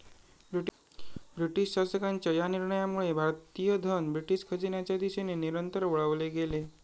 British शासकांच्या या निर्णयामुळे भारतीय धन ब्रिटिश खजिन्याचे दिशेने निरंतर वळवले गेले.